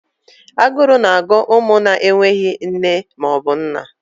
Aguru na agụ umu na enweghị nne maọbu nna.